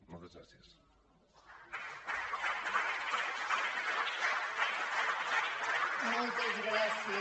moltes gràcies